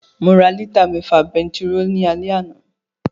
Mo ra lítà mẹ́fà bentiróòlù ní alẹ́ àná